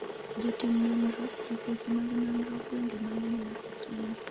jotim nonro, eseche mag nonro gwenge mang'eny ma Kisumo